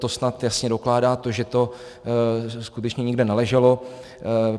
To snad jasně dokládá to, že to skutečně nikde neleželo.